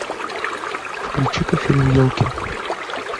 включи ка фильм елки